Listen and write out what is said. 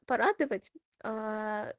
порадовать ээ